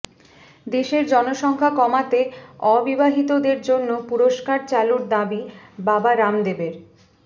দেশের জনসংখ্যা কমাতে অবিবাহিতদের জন্য পুরস্কার চালুর দাবি বাবা রামদেবের